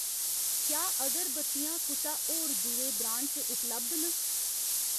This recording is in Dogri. क्या अगरबत्तियां कुसै होर दुए ब्रांड च उपलब्ध न ?